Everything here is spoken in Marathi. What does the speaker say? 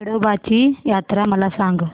येडोबाची यात्रा मला सांग